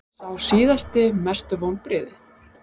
Sá síðasti Mestu vonbrigði?